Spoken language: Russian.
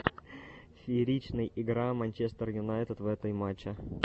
фееричный игра манчестер юнайтед в этой матчи